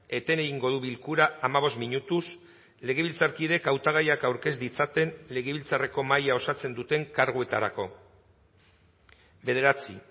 eten egingo du bilkura hamabost minutuz legebiltzarkideek hautagaiak aurkez ditzaten legebiltzarreko mahaia osatzen duten karguetarako bederatzi